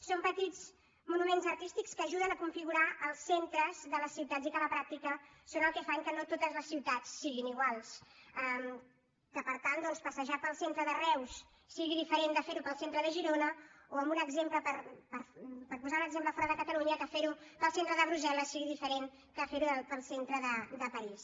són petits monuments artístics que ajuden a configurar els centres de les ciutats i que a la pràctica són els que fan que no totes les ciutats siguin iguals que per tant doncs passejar pel centre de reus sigui diferent de fer ho pel centre de girona o per posar ne un exemple de fora de catalunya que fer ho pel centre de brussel·les sigui diferent que ferho pel centre de parís